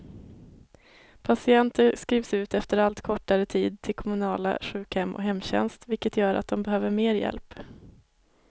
Patienter skrivs ut efter allt kortare tid till kommunala sjukhem och hemtjänst, vilket gör att de behöver mer hjälp.